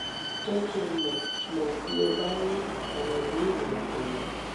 je ki n mo mo bi o ba ni awon ibeere atele